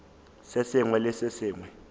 se sengwe le se sengwe